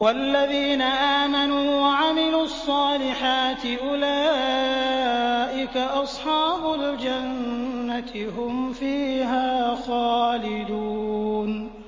وَالَّذِينَ آمَنُوا وَعَمِلُوا الصَّالِحَاتِ أُولَٰئِكَ أَصْحَابُ الْجَنَّةِ ۖ هُمْ فِيهَا خَالِدُونَ